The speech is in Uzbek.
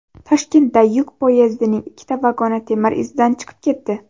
Toshkentda yuk poyezdining ikkita vagoni temir izdan chiqib ketdi .